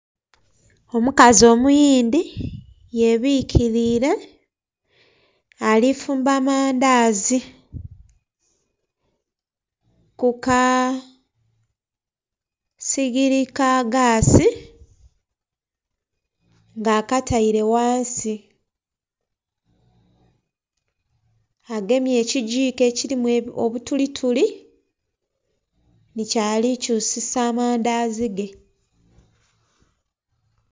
Omukazi omuyindi yebikirire alifumba mandazi kukasigiri kagasi nga akataire ghansi agemye ekigiko ekirimu obutulituli ni kyali kyusisa amandazi ge.